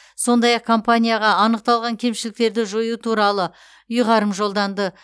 сондай ақ компанияға анықталған кемшіліктерді жою туралы ұйғарым жолданды